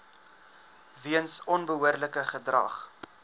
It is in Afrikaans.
weens onbehoorlike gedrag